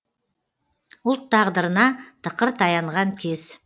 ұлт тағдырына тықыр таянған кез